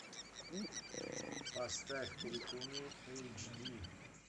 поставь крикуны эйч ди